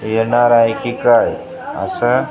येणार आहे की काय असं अ --